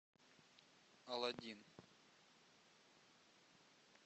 аладдин